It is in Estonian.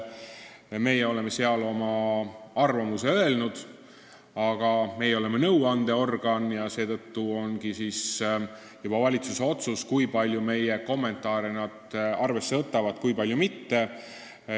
Meie oleme seal oma arvamuse öelnud, aga me oleme nõuandeorgan ja on valitsuse otsus, kui palju nad meie kommentaare arvesse võtavad, kui palju mitte.